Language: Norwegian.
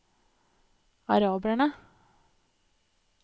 araberne